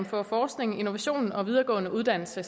for forskning innovation og videregående uddannelser